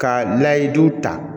Ka nayidu ta